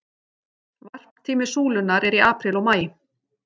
Varptími súlunnar er í apríl og maí.